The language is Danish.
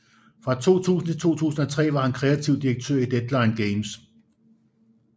Fra 2000 til 2003 var han kreativ direktør i Deadline Games